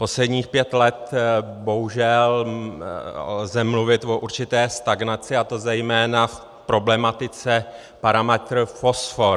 Posledních pět let bohužel lze mluvit o určité stagnaci, a to zejména v problematice parametr fosfor.